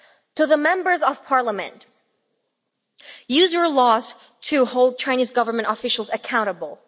To the Members of Parliament use your laws to hold Chinese Government officials accountable.